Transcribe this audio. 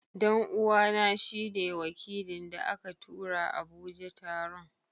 dan'uwana shi ne wakilin da aka tura Abuja taron.